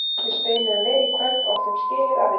Við spiluðum vel í kvöld og áttum skilið að vinna.